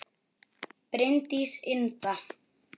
Bryndís Inda